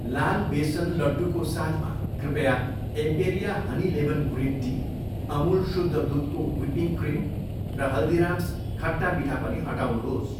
लाल बेसनको लड्डू को साथमा, कृपया Emperia honey lemon green tea, Amul शुद्ध दुधको व्हिपिङ्ग क्रिम र हल्दीराम्स खट्टा मिठा पनि हटाउनुहोस्।